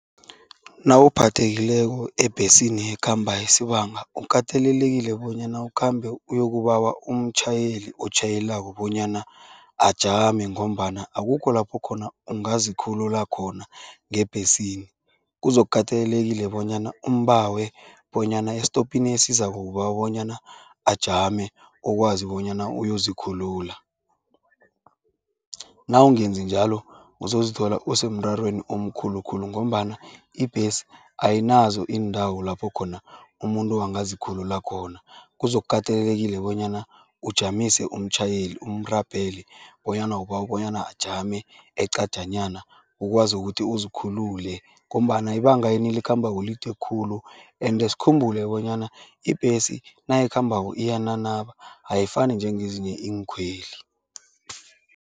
Nawuphathekile ebhesini ekhamba isibanga, ukatelelekile bonyana ukhambe uyokubawa umtjhayeli otjhayelako bonyana ajame ngombana akukho lapho khona ungazikhulula khona ngebhesini. Kuzokukatelelekile bonyana umbawe bonyana esitopini esizako ubawa bonyana ajame, ukwazi bonyana uyozikhulula. Nawungenzi njalo, uzozithola usemrarweni omkhulu khulu ngombana ibhesi ayinazo iindawo lapho khona umuntu angazikhulula khona, kuzokukatelelekile bonyana ujamise umtjhayeli, umrabhele bonyana ubawa bonyana ajame eqajanyana ukwazi ukuthi uzikhulule ngombana ibanga enilikhambako lide khulu ende sikhumbule bonyana ibhesi nayikhambako iyananaba, ayifani njengezinye iinkhweli.